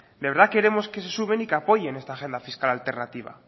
de verdad queremos que se sumen y que apoyen esta agenda fiscal alternativa